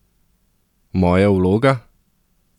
Moja vloga?